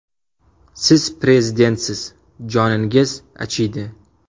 Siz prezidentsiz, joningiz achiydi.